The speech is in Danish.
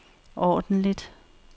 ordentligt